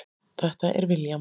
Þetta er William.